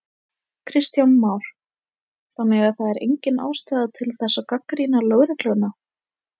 Kristján Már: Þannig að það er engin ástæða til þess að gagnrýna lögregluna?